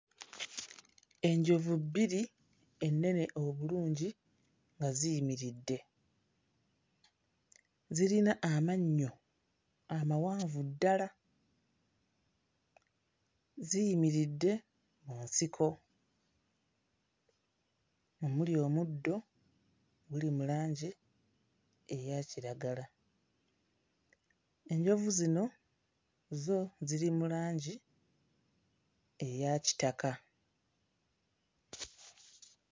Enjovu bbiri ennene obulungi nga ziyimiridde. Zirina amannyo amawanvu ddala, ziyimiridde mu nsiko omuli omuddo oguli mu langi eya kiragala. Enjovu zino zo ziri mu langi eya kitaka.